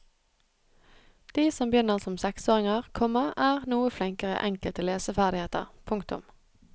De som begynner som seksåringer, komma er noe flinkere i enkelte leseferdigheter. punktum